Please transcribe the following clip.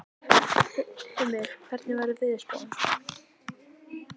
Hymir, hvernig er veðurspáin?